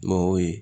Mɛ o ye